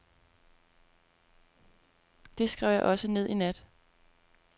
Det skrev jeg også ned i nat.